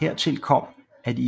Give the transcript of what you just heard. Hertil kom at de